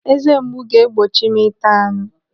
Eze mgbu ga-egbochi m ịta anụ.